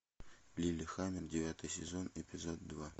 лиллехаммер девятый сезон эпизод два